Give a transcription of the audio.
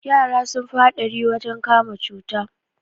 Yara sun fi haɗari wajen kama cuta